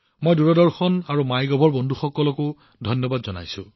মই দূৰদৰ্শন আৰু মাইগভৰ কৰ্মচাৰীসকলকো ধন্যবাদ জনাইছো